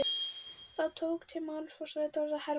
Þá tók til máls forsætisráðherra Hermann Jónasson.